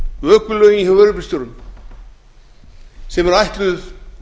vökulögin hjá vörubílstjórum sem eru ætluð